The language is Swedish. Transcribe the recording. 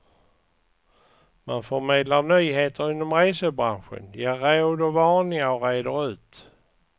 Man förmedlar nyheter inom resebranschen, ger råd och varningar och reder ut.